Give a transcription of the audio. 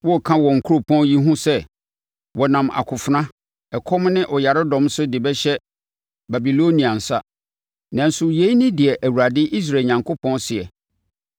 “Woreka wɔ kuropɔn yi ho sɛ, ‘Wɔnam akofena, ɛkɔm ne ɔyaredɔm so de bɛhyɛ Babiloniahene nsa’; nanso yei ne deɛ Awurade, Israel Onyankopɔn seɛ: